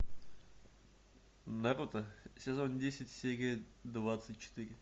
наруто сезон десять серия двадцать четыре